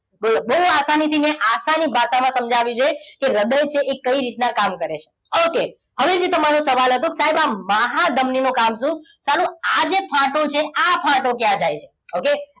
બહુ આસાનીથી મેં આસાની ભાષામાં સમજાવ્યું છે કે હૃદય છે એ કઈ રીતના કામ કરે છે okay હવે જે તમારો સવાલ હતો સાહેબ આ મહાધમનીનું કામ શું સાલુ આ જે ફાટો છે આ ફાટો ક્યાં જાય છે okay